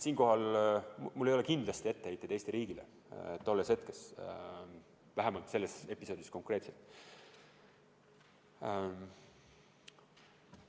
Siinkohal ei ole mul kindlasti etteheiteid Eesti riigile, vähemalt selles episoodis konkreetselt mitte.